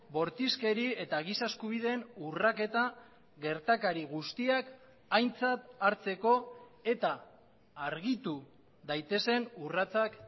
bortizkeri eta giza eskubideen urraketa gertakari guztiak aintzat hartzeko eta argitu daitezen urratsak